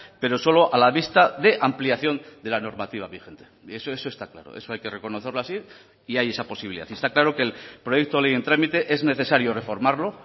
pero solo a la vista de ampliación de la normativa vigente eso eso está claro eso hay que reconocerlo así y hay esa posibilidad y está claro que el proyecto de ley en trámite es necesario reformarlo